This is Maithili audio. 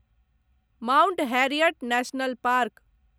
Mount Harriet National park